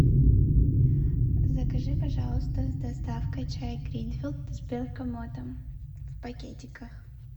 закажи пожалуйста с доставкой чай гринфилд с бергамотом в пакетиках